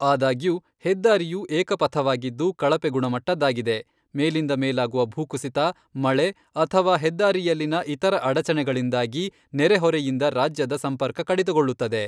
ಆದಾಗ್ಯೂ, ಹೆದ್ದಾರಿಯು ಏಕ ಪಥವಾಗಿದ್ದು ಕಳಪೆ ಗುಣಮಟ್ಟದ್ದಾಗಿದೆ, ಮೇಲಿಂದ ಮೇಲಾಗುವ ಭೂಕುಸಿತ, ಮಳೆ, ಅಥವಾ ಹೆದ್ದಾರಿಯಲ್ಲಿನ ಇತರ ಅಡಚಣೆಗಳಿಂದಾಗಿ ನೆರೆಹೊರೆಯಿಂದ ರಾಜ್ಯದ ಸಂಪರ್ಕಕಡಿತಗೊಳ್ಳುತ್ತದೆ.